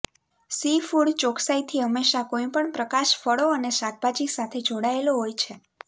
seafood ચોક્સાઇથી હંમેશા કોઈપણ પ્રકાશ ફળો અને શાકભાજી સાથે જોડાયેલો હોય છે